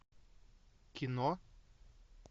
кино